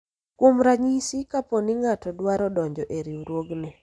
kuom ranyisi ,kapo ni ng'ato dwaro donjo e riwruogni